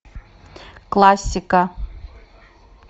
классика